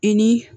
I ni